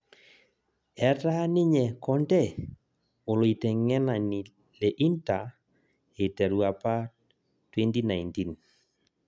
Etaa ninye conte oloiteng'enani le inter eiteru apa 2019